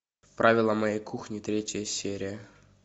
правила моей кухни третья серия